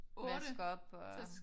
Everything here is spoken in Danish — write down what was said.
Vaske op og